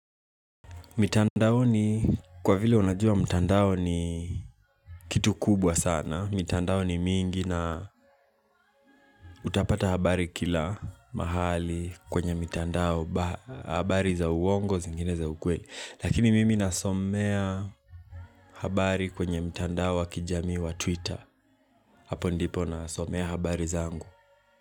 Mitandaoni kwa vile unajua mtandao ni kitu kubwa sana mitandao ni mingi na utapata habari kila mahali kwenye mitandao habari za uongo zingine za ukweli Lakini mimi nasomea habari kwenye mtandao wa kijami wa twitter Hapo ndipo nasomea habari zangu.